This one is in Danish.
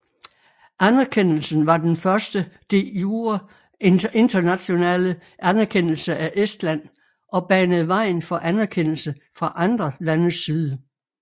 Anerkendelsen var den første de jure internationale anerkendelse af Estland og banede vejen for anerkendelse fra andre landes side